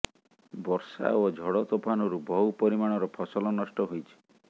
ବର୍ଷା ଓ ଝଡ଼ ତୋଫାନରୁ ବହୁ ପରିମାଣର ଫସଲ ନଷ୍ଟ ହୋଇଛି